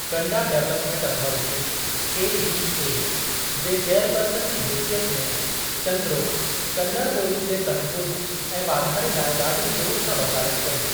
कंडा development authority (KDA) जे chairperson जी हेसियत में चंद्रो कन्नड़ ॿोली जे तहफ़ुज़ ऐं वाधारे लाइ ॾाढी ज़ोरु सां वकालत कई।